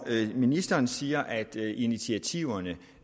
ministeren siger at initiativerne